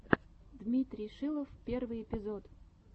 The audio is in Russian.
дмитрий шилов первый эпизод